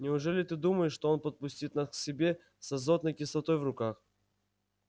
неужели ты думаешь что он подпустит нас к себе с азотной кислотой в руках